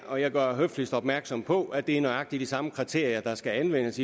og jeg gør høfligst opmærksom på at det er nøjagtig de samme kriterier der skal anvendes